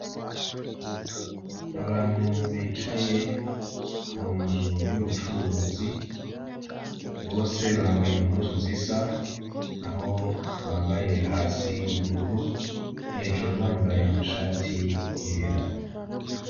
Abantu bicaye ku nzu y'ubucuruzi, bose bambaye impuzu zisa; aho bambaye hasi ubururu, hejuru bambaye amashati yera.